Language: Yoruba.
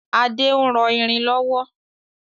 Ade ń rọ irin lọ́wọ́